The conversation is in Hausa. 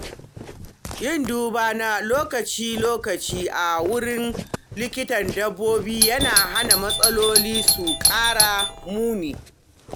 Yin duba na lokaci-lokaci a wurin likitan dabbobi yana hana matsaloli su ƙara muni.